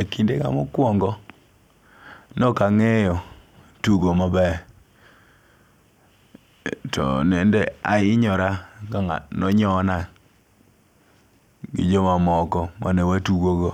E kinde ga mokwongo ne ok ang'eyo tugo maber to nende ahinyore ma ng'a nonyona gi jomoko mane watugo go